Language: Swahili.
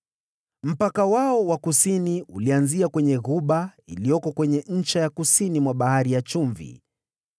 Mpaka wao wa kusini ulianzia kwenye ghuba iliyoko kwenye ncha ya kusini mwa Bahari ya Chumvi,